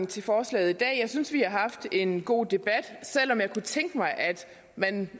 til forslaget i dag jeg synes vi har haft en god debat selv om jeg kunne tænke mig at man